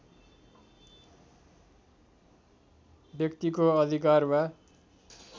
व्यक्तिको अधिकार वा